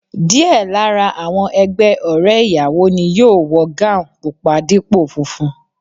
Díẹ̀ lára àwọn ẹgbẹ́ ọ̀rẹ́ ìyàwó ni yóò wọ gáùùn pupa dípò funfun